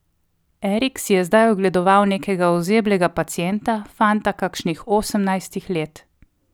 Erik si je zdaj ogledoval nekega ozeblega pacienta, fanta kakšnih osemnajstih let.